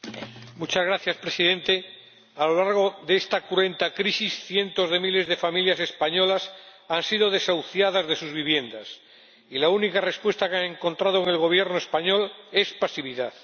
Señor Presidente, a lo largo de esta cruenta crisis, cientos de miles de familias españolas han sido desahuciadas de sus viviendas y la única respuesta que han encontrado en el Gobierno español es pasividad.